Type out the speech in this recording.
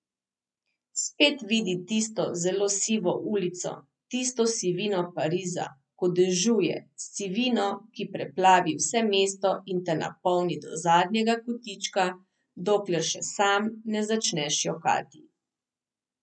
Spet vidi tisto zelo sivo ulico, tisto sivino Pariza, ko dežuje, sivino, ki preplavi vse mesto in te napolni do zadnjega kotička, dokler še sam ne začneš jokati.